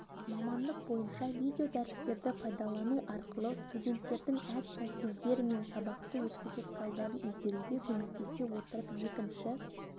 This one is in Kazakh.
мамандық бойынша видеодәрістерді пайдалану арқылы студенттердің әд тәсілдер мен сабақты өткізу құралдарын игеруіне көмектесе отырып екінші